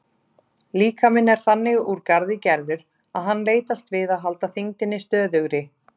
Líkaminn er þannig úr garði gerður að hann leitast við að halda þyngdinni stöðugri.